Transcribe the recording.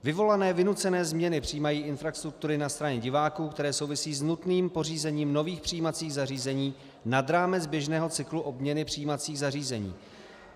Vyvolané vynucené změny přijímací infrastruktury na straně diváků, které souvisí s nutným pořízením nových přijímacích zařízení nad rámec běžného cyklu obměnu přijímacích zařízení.